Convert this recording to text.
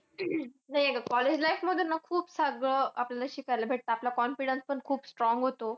नाही अगं college life मध्ये ना खूप अगं खूप शिकायला भेटतं. आपला confidence पण खूप strong होतो.